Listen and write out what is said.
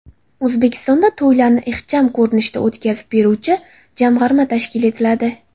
O‘zbekistonda to‘ylarni ixcham ko‘rinishda o‘tkazib beruvchi jamg‘arma tashkil etiladi.